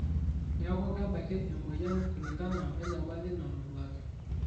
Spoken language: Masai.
Neeku, kebaki emoyian kulinkana wenyamali natoduaki.